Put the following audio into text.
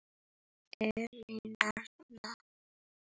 Elín Arna, Óskar og Úlfur.